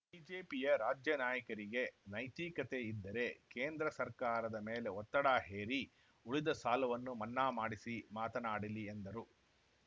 ಬಿಜೆಪಿಯ ರಾಜ್ಯ ನಾಯಕರಿಗೆ ನೈತಿಕತೆ ಇದ್ದರೆ ಕೇಂದ್ರ ಸರ್ಕಾರದ ಮೇಲೆ ಒತ್ತಡ ಹೇರಿ ಉಳಿದ ಸಾಲವನ್ನೂ ಮನ್ನಾ ಮಾಡಿಸಿ ಮಾತನಾಡಲಿ ಎಂದರು